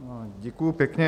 Děkuju pěkně.